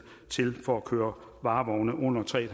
til for at køre varevogne under tre